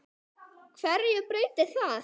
HVERJU BREYTIR ÞAÐ?